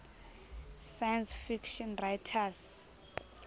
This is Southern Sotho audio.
science fiction writers